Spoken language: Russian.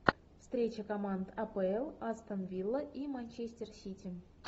встреча команд апл астон вилла и манчестер сити